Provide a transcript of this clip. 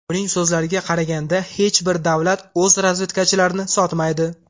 Uning so‘zlariga qaraganda, hech bir davlat o‘z razvedkachilarini sotmaydi.